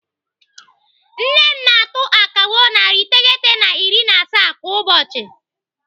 Nne m na-atụ akawo narị iteghete na iri na asaa kwa ụbọchị.